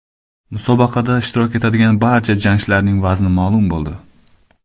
Musobaqada ishtirok etadigan barcha jangchilarning vazni ma’lum bo‘ldi.